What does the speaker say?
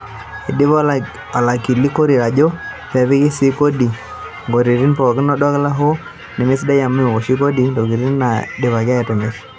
Eidipa olakili Korir ejo kepiki sii kodi intokitin pookin oldoka, hoo nemesidai amu meoshi kodi intokitin naidipaki atimir.